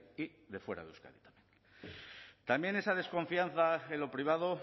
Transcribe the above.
y de fuera de euskadi también esa desconfianza en lo privado